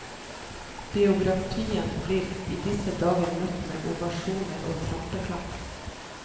Biografien blir i disse dager møtt med ovasjoner og trampeklapp.